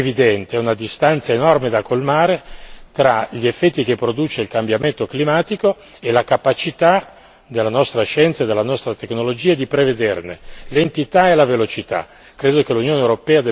C'è un ritardo evidente, una distanza enorme da colmare, tra gli effetti che produce il cambiamento climatico e la capacità della nostra scienza e della nostra tecnologia di prevederne l'entità e la velocità.